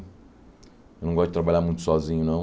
Eu não gosto de trabalhar muito sozinho, não.